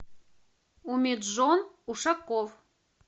умиджон ушаков